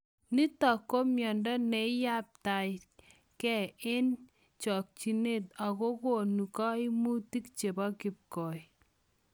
Nitok ko miondoo neiyabtai gei eng chokchinet agogonuu kaimutik chepo kipkoi.